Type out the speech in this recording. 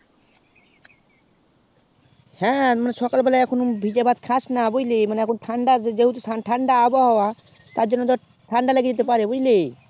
হ্যাঁ মানে সকাল বলেই ভিজে ভাত খাস না বুঝলি মানে যে হেতু ঠান্ডা আবও হওয়া তার জন্য ঠান্ডা লেগে যেতে পারে বুঝিলে